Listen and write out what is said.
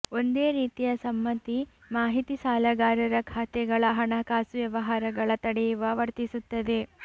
ಒಂದೇ ರೀತಿಯ ಸಮ್ಮತಿ ಮಾಹಿತಿ ಸಾಲಗಾರರ ಖಾತೆಗಳ ಹಣಕಾಸು ವ್ಯವಹಾರಗಳ ತಡೆಯುವ ವರ್ತಿಸುತ್ತದೆ